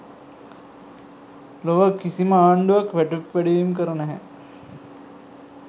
ලොව කිසිම ආණ්ඩුවක් වැටුප් වැඩිවීම් කර නැහැ.